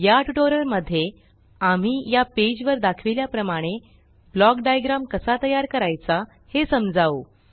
या ट्यूटोरियल मध्ये आम्ही या पेज वर दाखविल्या प्रमाणे ब्लॉक डाईग्राम कसा तयार करायचा हे समजावु